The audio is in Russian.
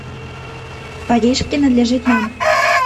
париж принадлежит нам